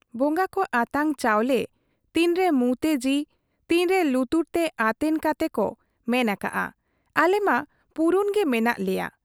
ᱵᱚᱝᱜᱟ ᱠᱚ ᱟᱛᱟᱝ ᱪᱟᱣᱞᱮ ᱛᱤᱱᱨᱮ ᱢᱩᱸᱛᱮ ᱡᱤ, ᱛᱤᱱᱨᱮ ᱞᱩᱛᱩᱨ ᱛᱮ ᱟᱛᱮᱱ ᱠᱟᱛᱮ ᱠᱚ ᱢᱮᱱ ᱟᱠᱟᱜ ᱟ , ᱟᱞᱮ ᱢᱟ ᱯᱩᱨᱩᱱ ᱜᱮ ᱢᱮᱱᱟᱜ ᱞᱮᱭᱟ ᱾